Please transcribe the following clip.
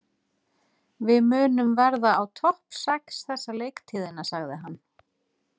Við munum verða á topp sex þessa leiktíðina, sagði hann.